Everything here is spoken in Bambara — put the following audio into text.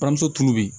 Buramuso tulu be yen